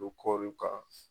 kan.